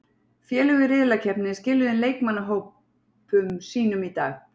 Félög í riðlakeppninni skiluðu inn leikmannahópum sínum í dag.